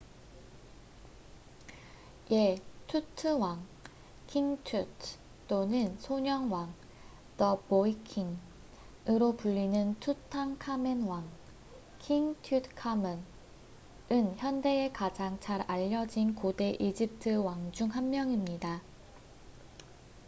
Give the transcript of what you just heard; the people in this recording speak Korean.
예! '투트왕king tut' 또는 '소년왕the boy king'으로 불리는 투탕카멘왕king tutankhamun은 현대에 가장 잘 알려진 고대 이집트 왕 중 한 명입니다